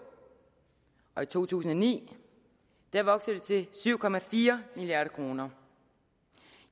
og i to tusind og ni til syv milliard kroner